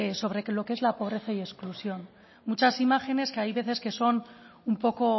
sobre lo que es la pobreza y exclusión muchas imágenes que hay muchas veces que son un poco